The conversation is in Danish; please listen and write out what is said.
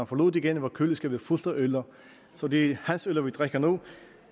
forlod det igen var køleskabet fuldt af øller så det er hans øller vi drikker nu